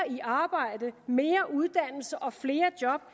i arbejde mere uddannelse og flere job